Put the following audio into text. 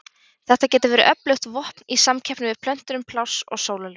Þetta getur verið öflugt vopn í samkeppni við plöntur um pláss og sólarljós.